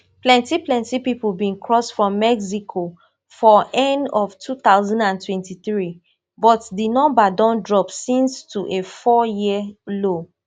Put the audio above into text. plenty plenty pipo bin cross from mexico for end of two thousand and twenty-three but di number don drop since to a fouryear low